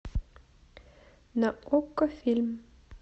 на окко фильм